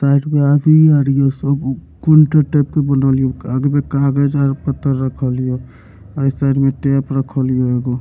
side मे आदमी आगे मे कागज आर पत्रर रखल ये ए साइड मे टेप रखल ये एगो |